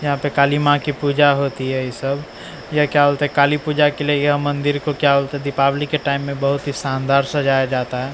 यहां पे काली मां की पूजा होती है ये सब यह क्या काली पूजा के लिए यह मंदिर को क्या दीपावली के टाइम में बहुत ही शानदार सजाया जाता--